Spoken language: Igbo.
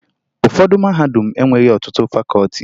Ụfọdụ mahadum enweghi ọtụtụ fakọọti